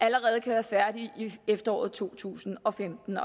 allerede at være færdig i efteråret to tusind og femten